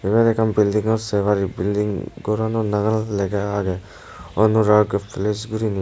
eyot ekkan building gor say parib building gorano nangan lega age anurag palace gorini.